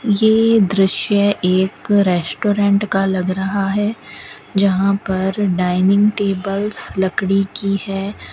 ये दृश्य एक रेस्टोरेंट का लग रहा है जहां पर डायनिंग टेबल्स लकड़ी की है।